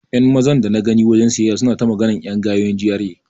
Ƴan Mazan dana gani a wajen siyayya suna ta maganar ƴan gayun GRA.